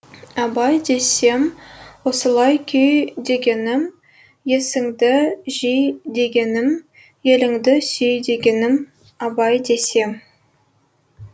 абай десем осылай күй дегенім есіңді жи дегенім еліңді сүй дегенім абай десем